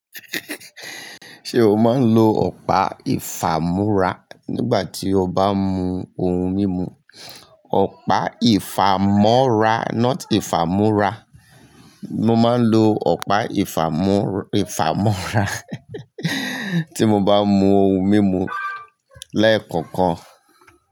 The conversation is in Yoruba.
Ṣe o máa ń lo ọ̀pá ìfàmú́ra nígbà tí o bá ń mu ohun mímu? Ọ̀pá ìfàmọ́ra not ìfàmú́ra. Mo máa ń lo ọ̀pá ìfàmọ́ra tí mo bá ń mu ohun mímu lẹ́ẹ̀kọ̀okan.